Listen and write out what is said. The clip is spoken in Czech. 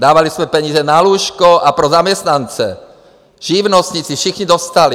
Dávali jsme peníze na lůžko a pro zaměstnance, živnostníci, všichni dostali.